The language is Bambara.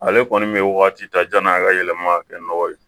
Ale kɔni bɛ wagati ta janni a ka yɛlɛma ka kɛ nɔgɔ ye